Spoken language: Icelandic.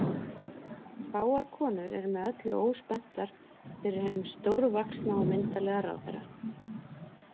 Fáar konur eru með öllu óspenntar fyrir hinum stórvaxna og myndarlega ráðherra.